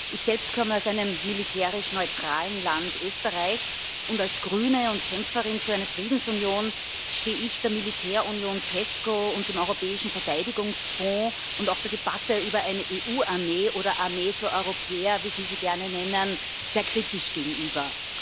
Ich selbst komme aus einem militärisch neutralen Land, Österreich, und als Grüne und Kämpferin für eine Friedensunion stehe ich der Militärunion Pesco und dem Europäischen Verteidigungsfonds und auch der Debatte über eine EU Armee oder Armee für Europäer, wie Sie sie gerne nennen, sehr kritisch gegenüber.